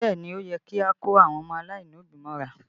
Bẹẹ ni, ó yẹ kí a kó àwọn ọmọ aláìlóbí mọ́ra